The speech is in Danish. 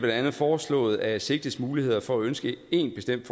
andet foreslået at sigtedes muligheder for at ønske en bestemt